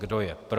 Kdo je pro?